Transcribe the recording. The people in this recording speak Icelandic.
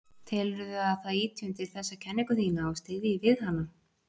Telurðu að það ýti undir þessa kenningu þína og styðji við hana?